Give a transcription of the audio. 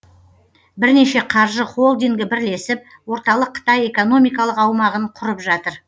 бірнеше қаржы холдингі бірлесіп орталық қытай экономикалық аумағын құрып жатыр